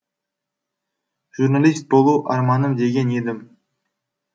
журналист болу арманым деген едім